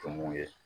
Tumuw ye